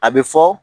A bɛ fɔ